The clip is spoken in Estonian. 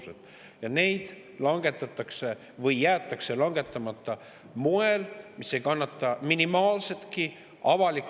Eesti ajaloo suurimad otsused langetatakse või jäetakse langetamata sellisel moel, et see avaliku ressursiga toimetamine …